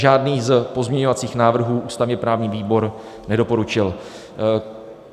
Žádný z pozměňovacích návrhů ústavně-právní výbor nedoporučil.